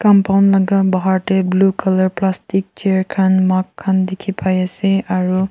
compound laga bahar tae blue colour plastic chair khan mug khan dikhipaiase aro--